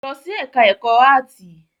Lọ sí ẹ̀ká ẹ̀kọ́ áàtì!